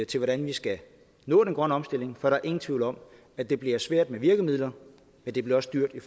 til hvordan vi skal nå den grønne omstilling for der er ingen tvivl om at det bliver svært med virkemidler men det bliver også dyrt i